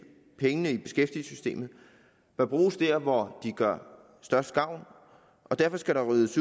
pengene i beskæftigelsessystemet bør bruges der hvor de gør størst gavn og derfor skal der ryddes